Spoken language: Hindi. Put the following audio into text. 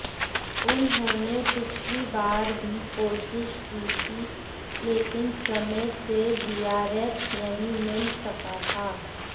उन्होंने पिछली बार भी कोशिश की थी लेकिन समय से वीआरएस नहीं मिल सका था